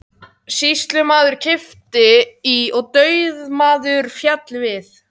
Sýslumaður kippti í og dauðamaðurinn féll við.